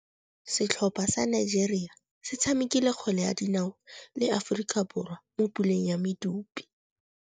Setlhopha sa Nigeria se tshamekile kgwele ya dinaô le Aforika Borwa mo puleng ya medupe.